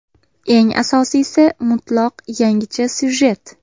Eng asosiysi mutlaq yangicha syujet.